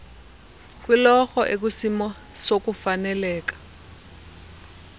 kwiloro ekwisimo sokufaneleka